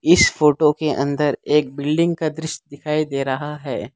इस फोटो के अंदर एक बिल्डिंग का दृश्य दिखाई दे रहा है।